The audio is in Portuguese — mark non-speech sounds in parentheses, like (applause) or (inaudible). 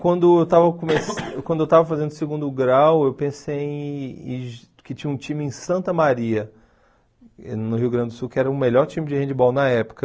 Quando eu estava come (coughs) quando eu estava fazendo o segundo grau, eu pensei que que tinha um time em Santa Maria, no Rio Grande do Sul, que era o melhor time de handball na época.